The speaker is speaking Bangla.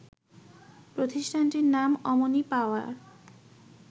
প্রতিষ্ঠানটির নাম অমনি পাওয়ার